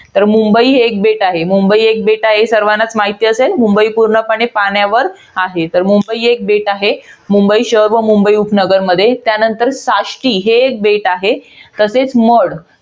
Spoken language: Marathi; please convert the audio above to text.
तर मुंबई हे एक बेट आहे. हे सर्वांनाच माहित असेल. मुंबई हे पूर्णपणे पाण्यावर आहे. तर मुंबई हे एक बेट आहे. मुंबई शहर व मुंबई उपनगरमध्ये. त्यानंतर साष्टी हे एक बेट आहे. तसेच मड.